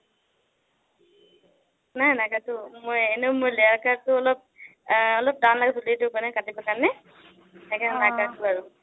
নাই নাকাটো। মই এনেইও মানে layer cut টো অলপ টান লাগে মানে চুলিটো কাটিবৰ কাৰণে আৰু সেইকাৰণে নাকাটো আৰু